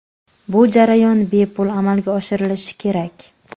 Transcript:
Bu jarayon bepul amalga oshirilishi kerak.